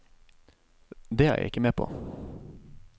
Det er jeg ikke med på.